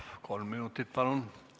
Kolm minutit, palun!